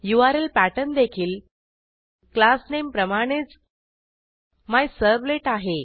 URL pattern देखील class name प्रमाणेच मिझर्व्हलेट आहे